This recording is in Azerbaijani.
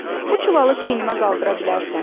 Bu çuvalı çiynimə qaldıra bilərsən?